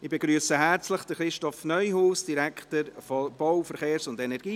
Ich begrüsse herzlich, Christoph Neuhaus, Direktor der BVE.